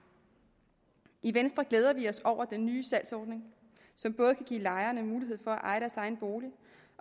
i venstre glæder vi os over den nye salgsordning som både giver lejerne mulighed for at eje deres egen bolig